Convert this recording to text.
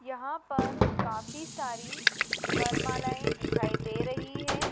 यहां पर काफी सारी वरमालाएं दिखाई दे रही है।